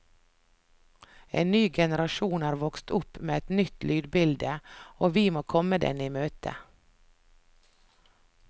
En ny generasjon er vokst opp med et nytt lydbilde, og vi må komme den i møte.